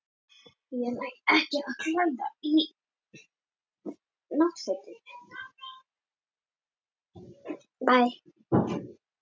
Hegðun þessara eldstöðva er mjög ólík.